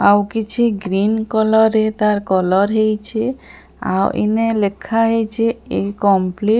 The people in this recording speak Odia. ଆଉ କିଛି ଗ୍ରିନ କଲର ରେ ତାର କଲର ହେଇଛି ଆଉ ଲେଖା ହେଇଛି ଇନକମପଲିଟ।